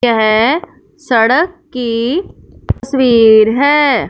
यह सड़क की तस्वीर है।